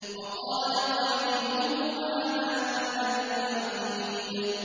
وَقَالَ قَرِينُهُ هَٰذَا مَا لَدَيَّ عَتِيدٌ